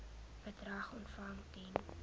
bedrag ontvang ten